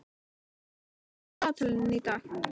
Selka, hvað er á dagatalinu í dag?